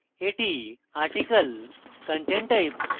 that article content type